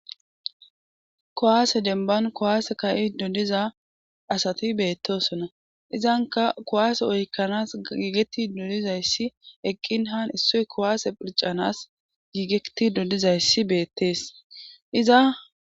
kuwaase demban kowaase ka'ido diza asati beettosona izanka kuwaase oykkanas giigetido dizayssi eqqin han issoy kuwaase phircanas giigetido dizayssi beettees iza